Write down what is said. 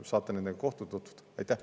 Saate nende kohtuda.